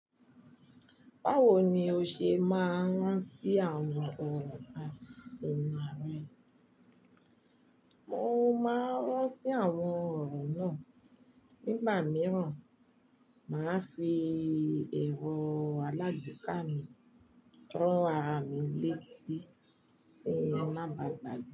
Bawo ni o ṣe máa n ránti àwọn ọ̀rọ̀ àsìnà rẹ? Mo máa n rántí àwọn ọ̀rọ̀ náà nígbà mìíràn. Màá fi èrọ alágbeeka mi rán ara mi létí tin ma ba gbàgbe.